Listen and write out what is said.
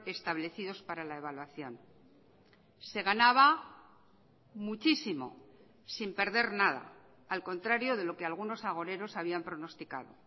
establecidos para la evaluación se ganaba muchísimo sin perder nada al contrario de lo que algunos agoreros habían pronosticado